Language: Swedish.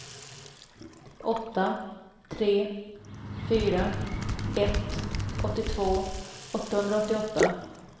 åtta tre fyra ett åttiotvå åttahundraåttioåtta